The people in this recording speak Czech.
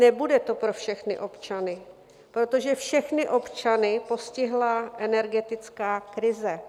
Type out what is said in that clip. Nebude tu pro všechny občany, protože všechny občany postihla energetická krize.